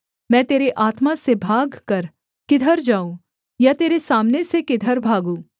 मैं तेरे आत्मा से भागकर किधर जाऊँ या तेरे सामने से किधर भागूँ